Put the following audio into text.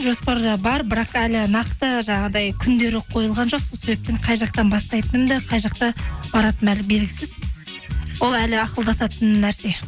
жоспарда бар бірақ әлі нақты жаңағыдай күндері қойылған жоқ сол себептен қай жақтан бастайтынымды қай жаққа баратыным әлі белгісіз ол әлі ақылдасатын нәрсе